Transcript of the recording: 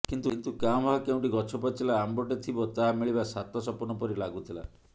କିନ୍ତୁ କାଁ ଭାଁ କୋଉଠି ଗଛପାଚିଲା ଆମ୍ବଟେ ଥିବ ତାହା ମିଳିବା ସାତ ସପନ ପରି ଲାଗୁଥିଲା